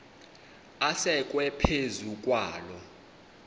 asekwe phezu kwaloo